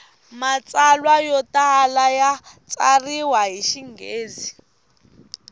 matsalwa yo tala ya tsariwa hi xinghezi